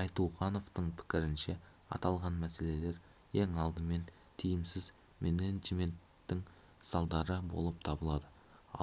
айтуғановтың пікірінше аталған мәселелер ең алдымен тиімсіз менеджменттің салдары болып табылады